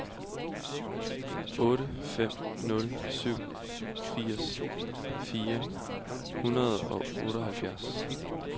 otte fem nul syv firs fire hundrede og otteoghalvfjerds